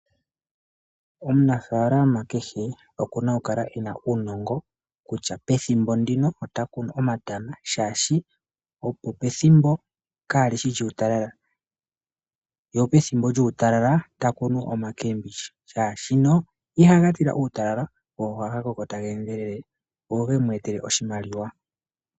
Omunafaalama kehe okuna okukala ena uunongo kutya pethimbo ndino ota kunu omatama, shaashi opo pethimbo kaalishi djuu talala ye pethimbo djuu talala ta kunu oma keembidja, shaashi no ihaga tila uutalala go ohaga koko taga endelele go gemu etele oshimaliwa.